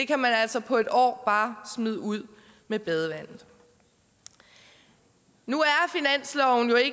kan man altså på et år bare smide ud med badevandet nu